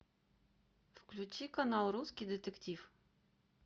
включи канал русский детектив